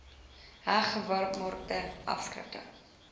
heg gewaarmerkte afskrifte